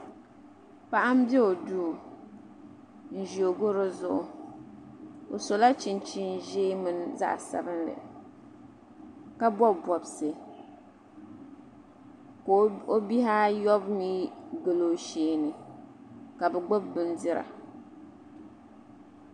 paɣa m be o duu n ʒi o gara zuɣu o sola chinchini ʒee mini zaɣa sabinli ka bɔbi bɔbisi ka o bihi ayɔbu mi gili o shee ni ka bɛ gbubi bindira